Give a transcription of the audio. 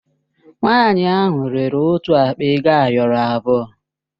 Nwanyị ahụ rere otu akpa ego ayọrọ abụọ.